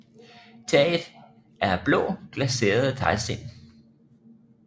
Taget er af blå glaserede teglsten